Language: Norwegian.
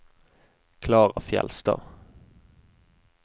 Klara Fjeldstad